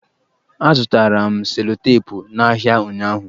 Azụtara m selotepụ n'ahịa ụnyụahụ.